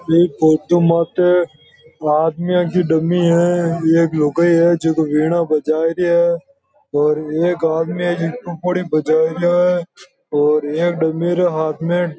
एक फोटो माते आदमिया की डमी है एक लुगाई है जो की वीणा बजाय री है और एक आदमी है जो प्पूड़ी बजा रिया है और एक डमी के हाथ में --